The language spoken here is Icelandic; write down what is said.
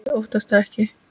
Ég óttast það ekki.